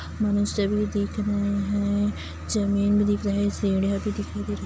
मुसे भी दिख रहे है ज़मीन भी दिख रहा है सिदियाँ भी दिखाई दे रही--